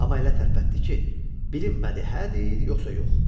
Amma elə tərpətdi ki, bilinmədi hə deyir yoxsa yox.